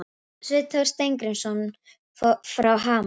Sveinn Þór Steingrímsson frá Hamar